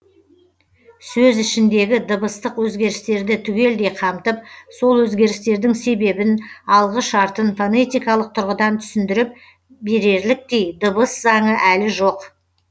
сөз ішіндегі дыбыстық өзгерістерді түгелдей қамтып сол өзгерістердің себебін алғы шартын фонетикалық тұрғыдан түсіндіріп береліктей дыбыс заңы әлі жоқ